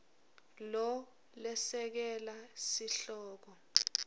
lo lesekela sihloko